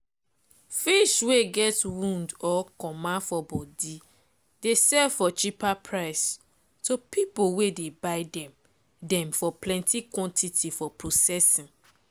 fish wey get wound or comma for body dey sell for cheaper price to people wey dey buy them them for plenty quantity for prcessing.